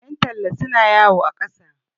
yantalla suna yawo a ƙasa